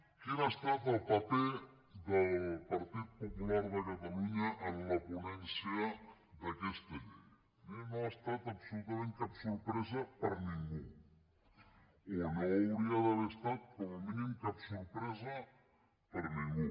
quin ha estat el paper del partit popular de catalunya en la ponència d’aquesta llei no ha estat absolutament cap sorpresa per a ningú o no hauria d’haver estat com a mínim cap sorpresa per a ningú